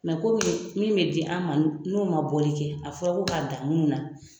kɔmi min bɛ di an ma n'o man bɔli kɛ a fɔra ko k'a dan munu na